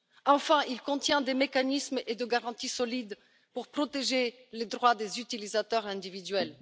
Enfin, il contient des mécanismes et des garanties solides pour protéger les droits des utilisateurs individuels.